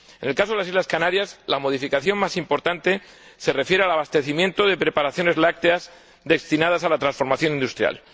En el caso de las Islas Canarias, la modificación más importante se refiere al abastecimiento de preparaciones lácteas destinadas a la transformación industrial.